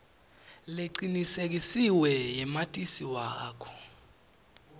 lecinisekisiwe yamatisi wakho